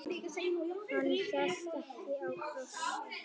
Hann hélt ekki á krossi.